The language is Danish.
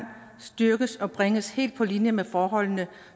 styrkes og bringes helt på linje med forholdene